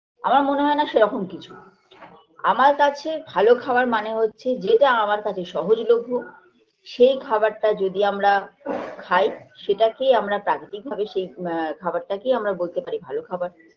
আমার মনে হয়না সেরকম কিছু আমার কাছে ভালো খাবার মানে হচ্ছে যেটা আমার কাছে সহজলভ্য সেই খাবারটা যদি আমরা খাই সেটাকেই আমরা প্রাকৃতিক ভাবে সেই আ খাবারটাকেই আমরা বলতে পারি ভালো খাবার